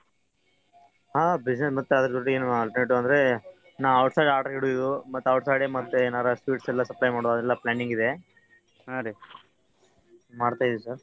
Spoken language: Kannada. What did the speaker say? ಹಾ business ಮತ್ತ್ ಅದ್ರ ಜೋಡಿ ಎನು alternate ಅಂದ್ರೆ ನಾವ್ out side order ಹಿಡಿದಿದ್ದು ಮತ್ತ್ outside sweets ಎನಾರ ಎಲ್ಲಾ sweets supply ಮಾಡೋ planning ಇದೆ ಮಾಡ್ತಾ ಇದೀವಿ sir .